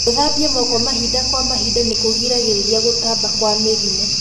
gũthambia moko mahinda kwa mahinda nĩkũgiragĩrĩria gũtamba kwa mĩrimũ